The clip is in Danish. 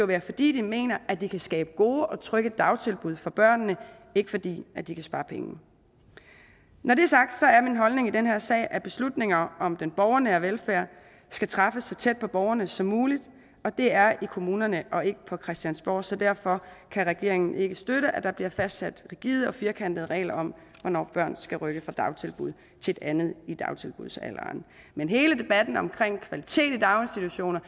være fordi de mener at de kan skabe gode og trygge dagtilbud for børnene ikke fordi de kan spare penge når det er sagt er min holdning i den her sag at beslutninger om den borgernære velfærd skal træffes så tæt på borgerne som muligt og det er i kommunerne og ikke på christiansborg så derfor kan regeringen ikke støtte at der bliver fastsat rigide og firkantede regler om hvornår børn skal rykke fra et dagtilbud til et andet i dagtilbudsalderen men hele debatten om omkring kvalitet i daginstitutionerne